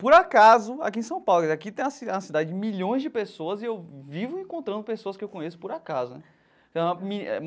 Por acaso, aqui em São Paulo, e aqui tem uma ci é uma cidade de milhões de pessoas e eu vivo encontrando pessoas que eu conheço por acaso foi.